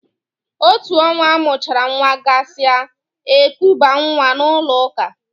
Otú ọnwa amụchara nwa gasị a, ekubaa nwa n'ụlọ ụka.